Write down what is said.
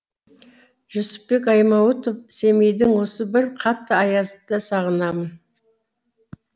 жүсіпбек аймауытов семейдің осы бір қатты аязын да сағынамын